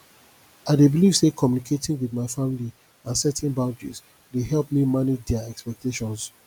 i dey believe say communicating with my family and setting boundaries dey help me manage dia expectations